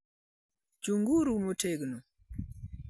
Chung'uru motegno!